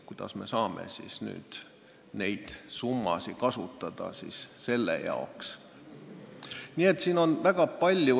Kuidas me saame siis nüüd neid summasid kasutada selle jaoks?